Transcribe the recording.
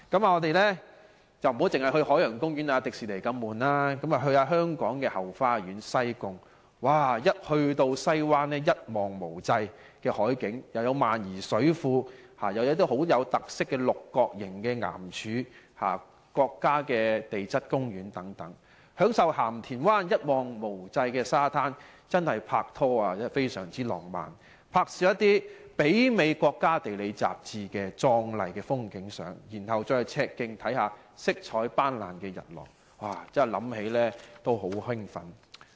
我們不要只去海洋公園、迪士尼樂園那麼沉悶，不如去香港的後花園——西貢，那裏有西灣一望無際的海景，有萬宜水庫，亦有可看到很有特色六角形岩柱的國家地質公園，再享受鹹田灣一望無際的沙灘，那確是適合拍拖的浪漫地方，在那兒拍攝一些媲美《國家地理》雜誌的壯麗風景照，然後去赤徑看看色彩斑斕的日落，想起都很令人興奮。